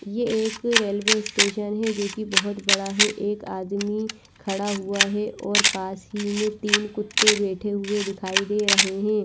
ये एक railway station है जो की बहोत बड़ा है एक आदमी खड़ा हुआ है और पास ही में तिन कुत्ते बेठे हुए दिखाई दे रहे है।